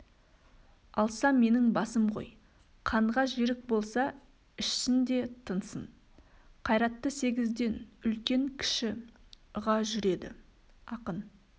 алса менің басым ғой қанға жерік болса ішсін де тынсын қайратты сегізден үлкен-кіші ыға жүреді ақын